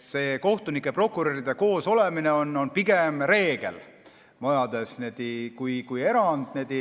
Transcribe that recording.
See kohtunike ja prokuröride koosolemine majades on pigem reegel kui erand.